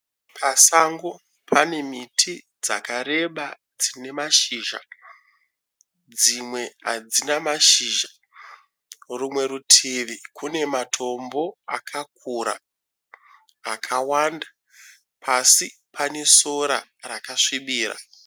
Pasango pane miti dzakareba dzine mashizha. Dzimwe hadzina mashizha. Rimwe rutivi kune matombo akakura akawanda. Pasi pane sora rakasvibira.